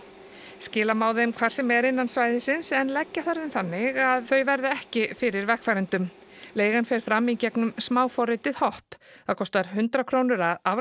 skila má þeim hvar sem er innan svæðis en leggja þarf þeim þannig að þær verði ekki fyrir vegfarendum leigan fer fram í gegnum hopp það kostar hundrað krónur að